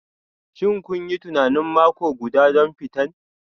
Shin kun yi tunanin mako guda don fitan?